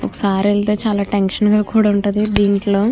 ఒకసారి వెళ్తే చాలా టెన్షన్ గ కూడా ఉంటది దీంట్లో.